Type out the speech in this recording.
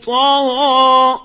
طَغَىٰ